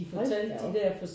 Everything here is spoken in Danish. Hold da op